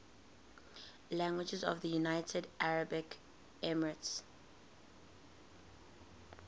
languages of the united arab emirates